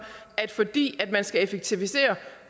at fordi man skal effektivisere